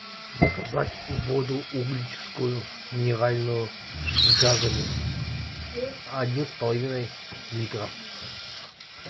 заказать воду угличскую минеральную с газами один с половиной литра